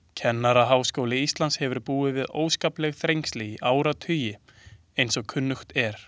Kennaraháskóli Íslands hefur búið við óskapleg þrengsli í áratugi, eins og kunnugt er.